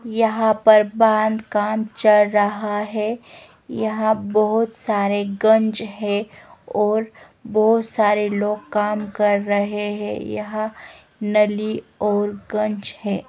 यहां पर बांध का काम चल रहा है यहां बहोत सारे गंज है और बहोत सारे लोग काम कर रहे हैं यहां नली और गंज हैं।